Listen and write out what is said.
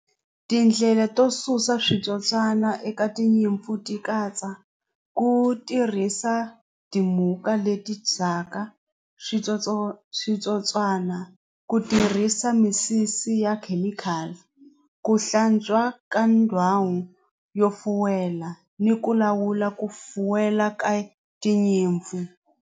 Tindlela to susa switsotswana eka tinyimpfu ti katsa ku tirhisa ti muka leti ndzhaka switsotswatsotswana ku tirhisa misisi ya chemical ku hlantswa ka ndhawu yo fuwela ni ku lawula ku fuwela ka tinyimpfu.